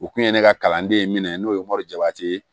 U kun ye ne ka kalanden ye minɛ n'o ye morijo ye